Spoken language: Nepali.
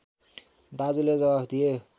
दाजुले जवाफ दिए